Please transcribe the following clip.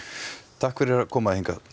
takk fyrir að koma hingað